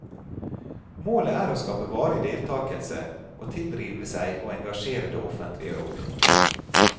Målet er å skape varig deltakelse, å tilrive seg og engasjere det offentlige rom.